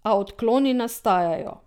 A odkloni nastajajo.